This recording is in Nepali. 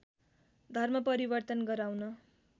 धर्म परिवर्तन गराउन